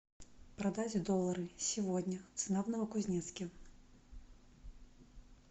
продать доллары сегодня цена в новокузнецке